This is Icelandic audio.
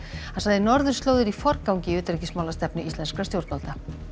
hann sagði norðurslóðir í forgangi í utanríkismálastefnu íslenskra stjórnvalda